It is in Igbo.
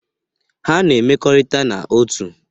Ha na-emekọrita n'otu.